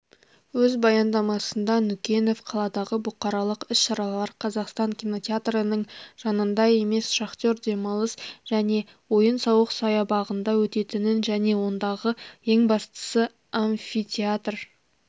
өз баяндамасында нүкенов қаладағы бұқаралық іс-шаралар қазақстан кинотеатрының жанында емес шахтер демалыс және ойын-сауық саябағында өтетінін және ондағы ең бастысы амфитеатр